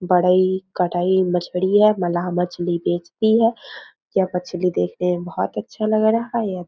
बड़ा ही कटाई मछली है मलाह मछली बेचती हैं यह मछली देखने में बहुत अच्छा लग रहा है यहाँ पे --